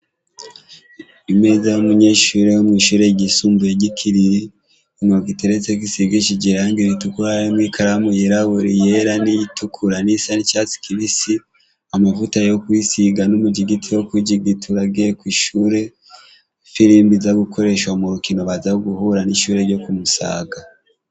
Imeza y'umunyeshure yo mw'ishure ryisumbuye ry'i Kiriri, inkoko iteretseko isigishije irangi ritukura harimwo ikaramu yirabura, iyera n'iyitukura, n'iyisa n'icatsi kibisi, amavuta yo kwisiga n'umujigiti wo kwijigitura agiye kw'ishure, ifirimbi iza gukoreshwa mu rukino baza guhura n'ishure ryo ku Musaga.